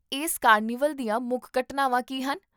ਇਸ ਕਾਰਨੀਵਲ ਦੀਆਂ ਮੁੱਖ ਘਟਨਾਵਾਂ ਕੀ ਹਨ?